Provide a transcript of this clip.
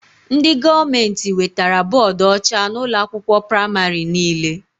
Ndị gọọmenti wetara bọdụ ọcha na ụlọ akwụkwọ pramarị niile